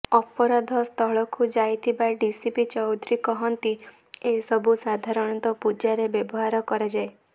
ଅପରାଧସ୍ଥଳକୁ ଯାଇଥିବା ଡିସିପି ଚୌଧୁରୀ କହନ୍ତି ଏସବୁ ସାଧାରଣତଃ ପୂଜାରେ ବ୍ୟବହାର କରାଯାଏ